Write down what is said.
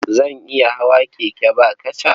Zan iya hawa keke ba kaca.